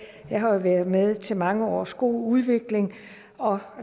jeg har jo været med til mange års god udvikling og